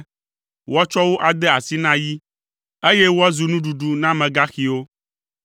Woatsɔ wo ade asi na yi, eye woazu nuɖuɖu na amegaxiwo.